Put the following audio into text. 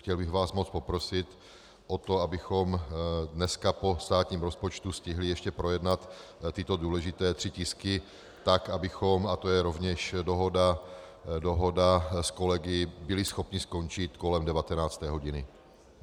Chtěl bych vás moc poprosit o to, abychom dneska po státním rozpočtu stihli ještě projednat tyto důležité tři tisky tak, abychom, a to je rovněž dohoda s kolegy, byli schopni skončit kolem 19. hodiny.